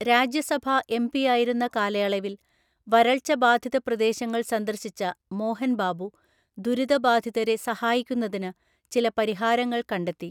രാജ്യസഭാ എംപിയായിരുന്ന കാലയളവിൽ വരൾച്ച ബാധിത പ്രദേശങ്ങൾ സന്ദർശിച്ച മോഹൻ ബാബു ദുരിതബാധിതരെ സഹായിക്കുന്നതിന് ചില പരിഹാരങ്ങൾ കണ്ടെത്തി.